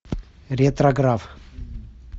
ретрограф